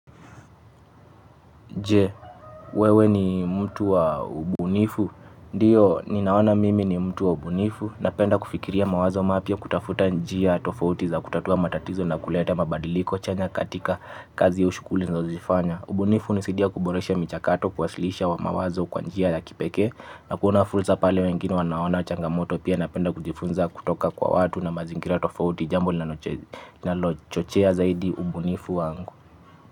Jee, wewe ni mtu wa ubunifu? Ndio, ninaona mimi ni mtu wa ubunifu. Napenda kufikiria mawazo mapya kutafuta njia tofauti za kutatua matatizo na kuleta mabadiliko chanya katika kazi au shughuli ninazozifanya. Ubunifu hunisidia kuboresha michakato, kuwasilisha mawazo kwa njia ya kipekee na kuona fursa pale wengine wanaona changamoto pia napenda kujifunza kutoka kwa watu na mazingira tofauti jambo linalo chochea zaidi ubunifu wangu.